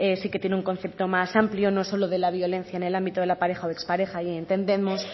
sí que tiene un concepto más amplio no solo de la violencia en el ámbito de la pareja o expareja y entendemos